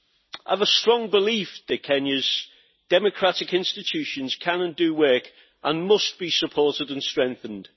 I have a strong belief that Kenya's democratic institutions can and do work and must be supported and strengthened.